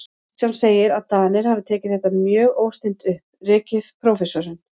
Kristján segir, að Danir hafi tekið þetta mjög óstinnt upp, rekið prófessorinn